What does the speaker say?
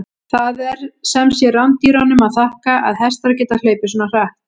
Það er sem sé rándýrunum að þakka að hestar geta hlaupið svona hratt!